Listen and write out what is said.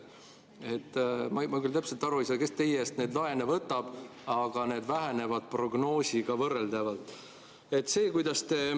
Ma küll täpselt aru ei saa, kes teie eest neid laene võtab, aga need vähenevad prognoosiga võrreldavalt.